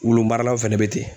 Wulumaralaw fɛnɛ bɛ ten.